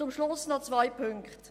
Zum Schluss noch zwei Aspekte.